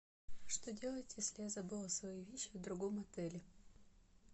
что делать если я забыла свои вещи в другом отеле